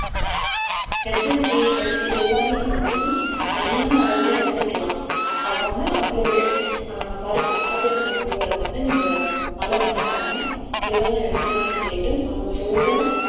herbal tea he~ இது எல்லாமே நீங்க வந்து சரியான அளவுல எடுத்துக்கலாம் அது வந்து உங்களுடைய ஆஹ் மருத்து மகப்பேறு மருத்துவரை வந்து நீங்க ஆலோசனை பண்ணி எதெல்லாம் எடுத்துக்கலான்னு கேட்டு அவங்க சொல்ற